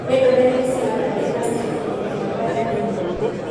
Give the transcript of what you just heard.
Nĩ ndũmĩrĩri cigana ndĩ na cio ibuku-inĩ rĩakwa rĩa thimũ?